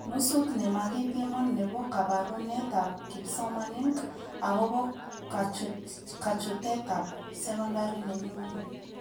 Nusut nemakipiman nebo kabarunetab kipsomanink akobo kachutetab sekondari nemi ngwony